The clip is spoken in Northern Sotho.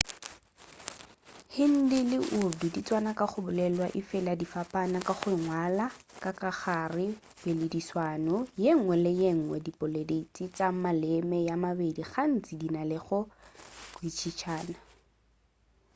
hindi le urdu di tswana ka go bolelwa efela di fapana ka go ngwalwa ka gare ga poledišano yengwe le yengwe diboledi tša maleme a a mabedi gantši di na le go kwešišana